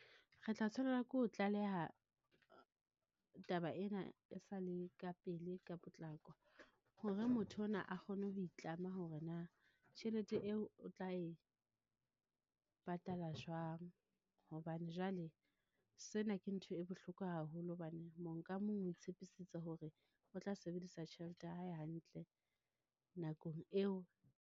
Re tla tshwanela ke ho tlaleha taba ena e sale ka pele, ka potlako, hore motho ona a kgone ho itlama hore na, tjhelete eo o tla e patala jwang? Hobane jwale sena ke ntho e bohloko haholo hobane mo nka mong o itshepisitse hore o tla sebedisa tjhelete ya hae hantle nakong eo.